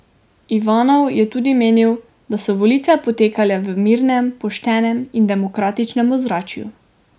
Ivanov je tudi menil, da so volitve potekale v mirnem, poštenem in demokratičnem ozračju.